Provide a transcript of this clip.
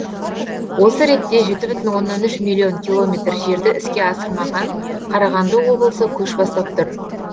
осы ретте жеті бүтін оннан үш миллион километр жерді іске асырмаған қарағанды облысы көш бастап тұр